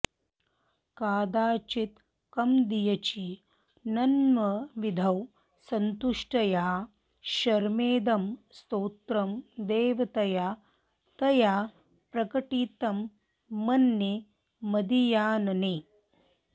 कादाचित्कमदीयचिन्तनविधौ सन्तुष्टया शर्मदं स्तोत्रं देवतया तया प्रकटितं मन्ये मदीयानने